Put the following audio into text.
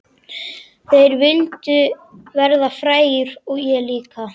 Þeir vildu verða frægir og ég líka.